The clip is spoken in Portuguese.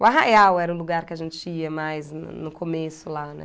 O Arraial era o lugar que a gente ia mais no começo lá, né?